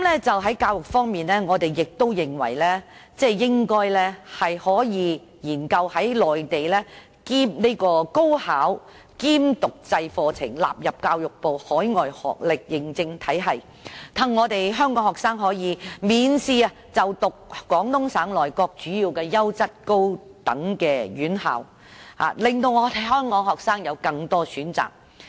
在教育方面，我們認為應該研究將內地高考兼讀制課程納入教育部海外學歷認證體系，讓香港學生可以免試就讀廣東省內各主要優質高等院校，讓香港學生有更多選擇。